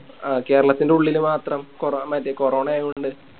ആ കേരളത്തിൻറെ ഉള്ളില് മാത്രം കൊറോ മറ്റേ കൊറോണ ആയ കൊണ്ട്